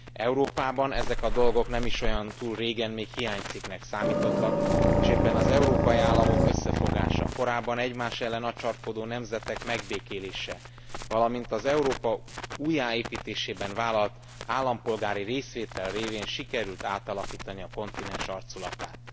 Európában ezek a dolgok nem is olyan túl régen még hiánycikknek számítottak, és éppen az európai államok összefogása, a korábban egymás ellen acsarkodó nemzetek megbékélése, valamint az Európa újjáépítésében vállalt állampolgári részvétel révén sikerült átalakítani a kontinens arculatát.